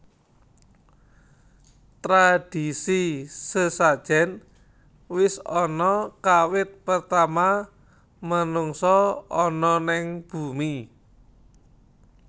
Tradisi sesajen wis ana kawit pertama menungsa ana neng bumi